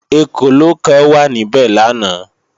Ekòló kan wà níbẹ̀ lánàá